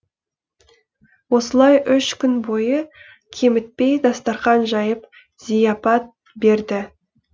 осылай үш күн бойы кемітпей дастарқан жайып зияпат берді